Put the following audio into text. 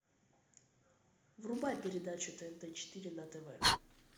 врубай передачу тнт четыре на тв